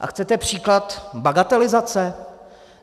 A chcete příklad bagatelizace?